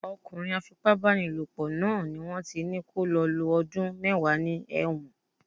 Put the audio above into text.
Ọkùnrin á fi pá bá ni lò pọ̀ náà ni wón ti ní kó lọ lo ọdún mẹ́wàá ní ẹ̀wọ̀n.